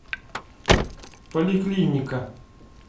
поликлиника